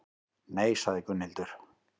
Nei, sagði Gunnhildur.